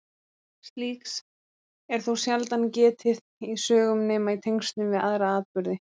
Slíks er þó sjaldan getið í sögum nema í tengslum við aðra atburði.